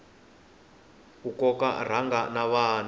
ku koka rhanga na vana